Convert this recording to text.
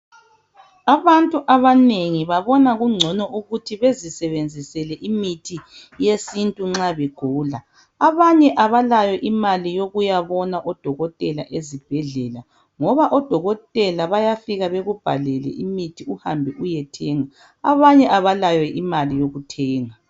Abantu abanengi babona kungcono ukuthi bezisebenzisele imithi yesintu nxa begula. Abanye abalayo imali yokuyabona odokotela ezibhedlela ngoba odokotela bayafika bekubhalele imithi uhambe uyethenga. Abanye abalayo imali yokuthenga.